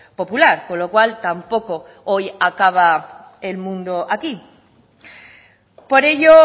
popular con lo cual tampoco hoy acaba el mundo aquí por ello